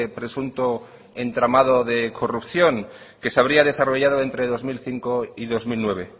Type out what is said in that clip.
presunto entramado de corrupción que se habría desarrollado entre dos mil cinco y dos mil nueve